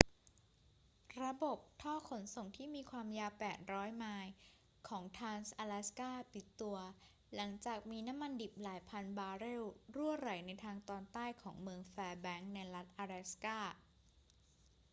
ระบบท่อขนส่งที่มีความยาว 800 ไมล์ของทรานส์-อะแลสกา ปิดตัวหลังจากมีน้ำมันดิบหลายพันบาร์เรลรั่วไหลในทางตอนใต้ของเมืองแฟร์แบงค์ในรัฐอะแลสกา